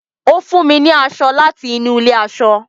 ọ fún mí ní aṣọ láti inú ilé aṣọ